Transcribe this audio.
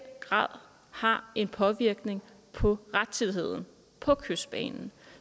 grad har en påvirkning på rettidigheden på kystbanen